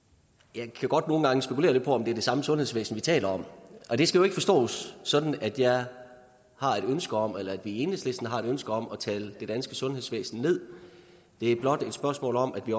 jeg kan godt nogle gange spekulere lidt på om det er det samme sundhedsvæsen vi taler om og det skal jo ikke forstås sådan at jeg har et ønske om eller at vi i enhedslisten har et ønske om at tale det danske sundhedsvæsen ned det er blot et spørgsmål om at vi